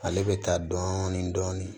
Ale bɛ taa dɔɔnin dɔɔnin